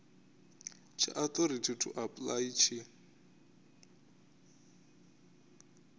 tsha authority to apply tshi